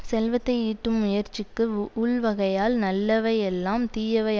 செல்வத்தை ஈட்டும் முயற்சிக்கு உ ஊழ்வகையால் நல்லவை எல்லாம் தீயவை